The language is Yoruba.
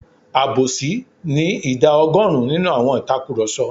Àbòsí ni ìdá ọgọ́rùn-ún nínú àwọn ìtakurọ̀sọ.